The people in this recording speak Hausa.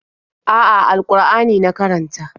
A'a, al-Ƙur'ani na karanta.